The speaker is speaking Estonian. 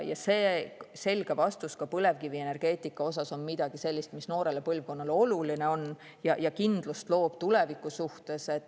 Selge vastus põlevkivienergeetika kohta on midagi sellist, mis noorele põlvkonnale oluline on ja loob kindlust tuleviku suhtes.